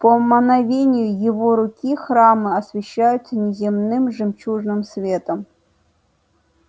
по мановению его руки храмы освещаются неземным жемчужным светом